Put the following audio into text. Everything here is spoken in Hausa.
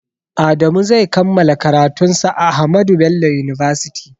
Adamu zai kammala karatun sa a ahmadu bello university